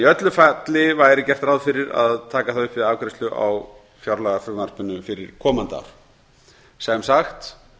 í öllu falli væri gert ráð fyrir að taka það upp við afgreiðslu á fjárlagafrumvarpinu fyrir komandi ár sem sagt